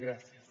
gràcies